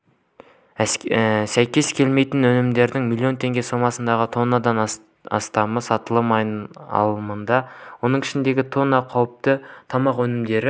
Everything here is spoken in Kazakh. сәйкес келмейтін өнімдердің млн теңге сомасындағы тоннадан астамы сатылымнан алынды оның ішінде тонна қауіпті тамақ өнімдері